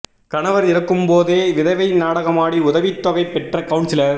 கணவர் இருக்கும்போதே விதவை நாடகமாடி உதவித்தொகை பெற்ற கவுன்சிலர்